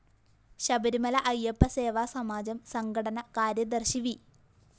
ശബരിമല അയ്യപ്പ സേവാ സമാജം സംഘടന കാര്യദര്‍ശി വി